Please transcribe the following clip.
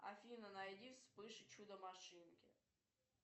афина найди вспыш и чудо машинки